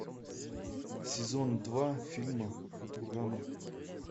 сезон два фильма футурама